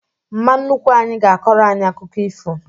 Mma nnukwu anyị ga-akọrọ anyị akụkọ ifo